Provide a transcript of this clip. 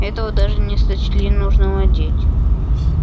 этого даже не сочли нужным одеть